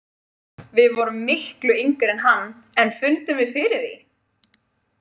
Við vorum miklu yngri en hann en fundum við fyrir því?